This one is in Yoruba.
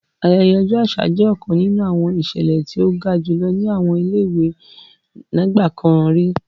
Ayẹyẹ ọjọ aṣa jẹ ọkan ninu awọn iṣẹlẹ ti o ga julọ ni awọn ile-iwe nigbakan ri.